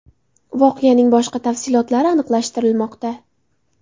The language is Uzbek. Voqeaning boshqa tafsilotlari aniqlashtirilmoqda.